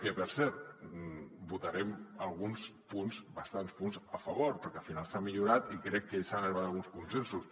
que per cert en votarem alguns punts bastants punts a favor perquè al final s’ha millorat i crec que s’ha arribat a alguns consensos